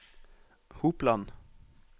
Hopland